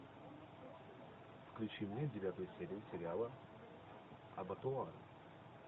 включи мне девятую серию сериала абатуар